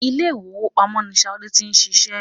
Ilé ìwowópamọ́ ní Ṣadé ti ń ṣiṣẹ́